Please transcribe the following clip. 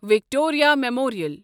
Victoria memorial